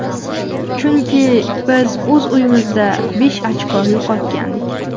Chunki biz o‘z uyimizda besh ochko yo‘qotgandik.